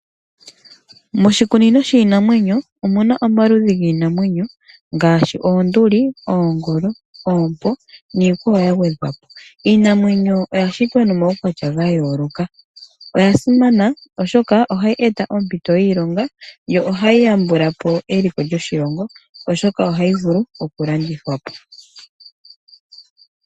Moshikunino shiinamwenyo omuna omaludhi giinamwenyo ngaashi oonduli, oongolo, oompo niikwawo yagwedhwapo. Iinamwenyo oya shitwa nomaukwatya gayooloka . Oya simana oshoka ohayi eta oompito dhiilonga, yo ohayi yambulapo eliko lyoshilongo oshoka ohayi vulu okulandithwapo.